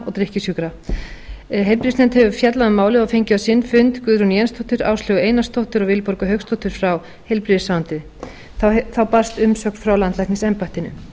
og drykkjusjúkra heilbrigðisnefnd hefur fjallað um málið og fengið á sinn fund guðrúnu w jensdóttur áslaugu einarsdóttur og vilborgu hauksdóttur frá heilbrigðisráðuneyti þá hefur nefndinni borist umsögn frá landlæknisembættinu